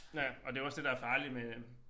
Ja og det jo også det der farligt med